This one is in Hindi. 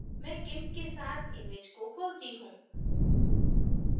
मैं gimp के साथ image को खोलती हूँ